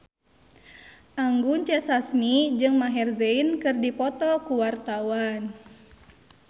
Anggun C. Sasmi jeung Maher Zein keur dipoto ku wartawan